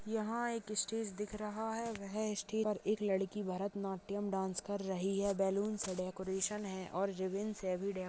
यहाँ एक ईस्टेज दिख रहा है वह स्टेज पर एक लड़की भरतनाट्यम डांस कर रही है बेलून्स से डेकरैशन है और रिबीनस हेवी --